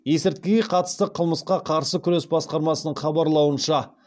есірткіге қатысты қылмысқа қарсы күрес басқармасының хабарлауынша